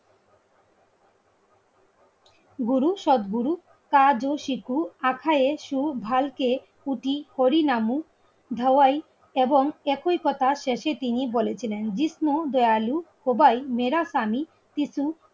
গুরু সদ্গুরু কাজু, শিখু, সুখ, ভালকে, পুটি, হরিনাম ধাওয়াই এবং একই কথা শেষে তিনি বলেছিলেন জিষ্ণু, দয়ালু, খোবাই, মেরাকামি সিসু